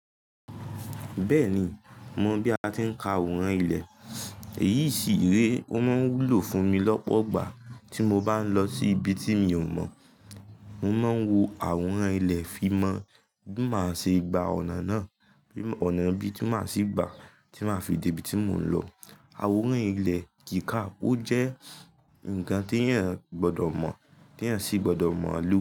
Bẹ́ẹ̀ni, mo mọ̀ bí a ti ń ka àwòrán ilẹ̀. Èyí sì re, ó máa ń wúlò fún mi lọ́pọ̀ igbà tí mo bá ń lọ sí ibi tí mi ò mọ̀. Mo máa ń wo àwòrán ilẹ̀ fi mọ bí màá ṣe gba ọ̀nà náà. Ọ̀nà bí tí màá ṣi gba, tí màá fi dé ibi tí mò ń lọ. Àwòrán ilẹ̀ kìíká ó jẹ́ ǹkan tí èèyàn gbọdọ̀ mọ̀, tí èèyàn sì gbọdọ̀ mọ̀ lọ́wọ́